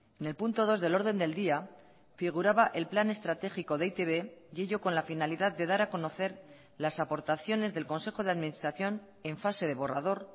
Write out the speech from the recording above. en el punto dos del orden del día figuraba el plan estratégico de e i te be y ello con la finalidad de dar a conocer las aportaciones del consejo de administración en fase de borrador